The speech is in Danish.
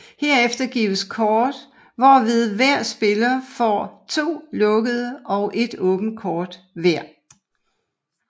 Herefter gives kort hvorved hver spiller får to lukkede og et åbent kort hver